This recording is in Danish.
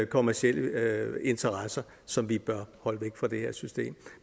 kommercielle interesser som vi bør holde væk fra det her system